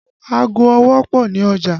Ago ọwọ́ pọ ní ọjà